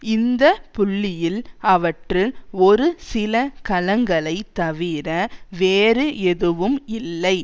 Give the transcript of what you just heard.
இந்த புள்ளியில் அவற்றில் ஒரு சில கலங்களை தவிர வேறு எதுவும் இல்லை